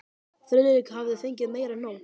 Friðrik hafði fengið meira en nóg.